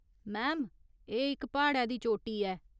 Ma'am, एह् इक प्हाड़ै दी चोटी ऐ।